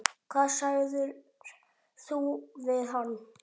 Hvað sagðir þú við hann?